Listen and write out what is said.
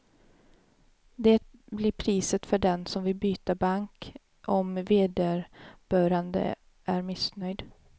Det blir priset för den som vill byta bank, om vederbörande är missnöjd.